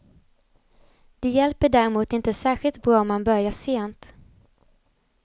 De hjälper däremot inte särskilt bra om man börjar sent.